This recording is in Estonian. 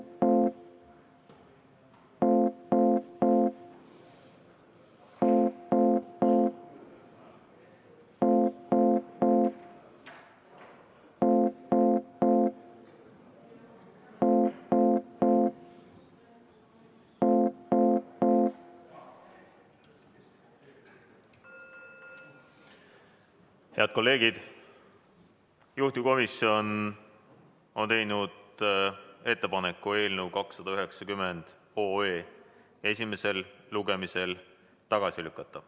Head kolleegid, juhtivkomisjon on teinud ettepaneku eelnõu 290 esimesel lugemisel tagasi lükata.